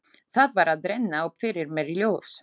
Það var að renna upp fyrir mér ljós.